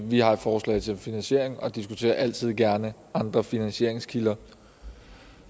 vi har et forslag til finansiering og diskuterer altid gerne andre finansieringskilder